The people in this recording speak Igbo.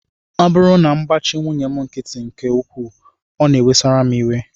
Ọ bụrụ na m gbachi nwunye m nkịtị nke ukwuu, ọ na-ewesara m iwe